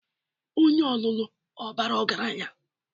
Onye ọlụlụ ọ bara ọgaranya?